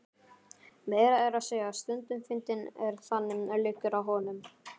Meira að segja stundum fyndinn ef þannig liggur á honum.